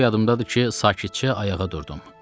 Bir o yadımdadır ki, sakitcə ayağa durdum.